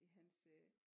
I hans øh